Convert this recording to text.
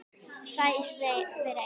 Segist samt vera einn heima.